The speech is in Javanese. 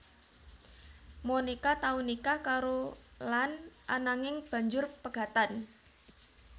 Monica tau nikah karo Lannd ananging banjur pegatan